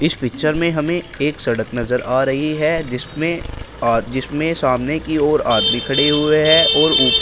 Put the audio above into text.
इस पिक्चर में हमें एक सड़क नजर आ रही है जिसमें जिसमें सामने की ओर आदमी खड़े हुए हैं और ऊपर--